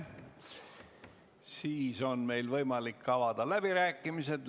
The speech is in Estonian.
Sellisel juhul on meil võimalik avada läbirääkimised.